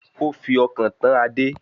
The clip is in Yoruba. Ó fi ọkàn tán Adé